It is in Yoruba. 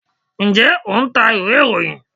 njẹ o ń tá ìwé iroyín?